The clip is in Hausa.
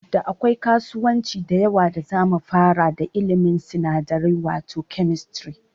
Da akwai kasuwanci da yawa da zamu fara da ilimin sinadarai wato Chemistry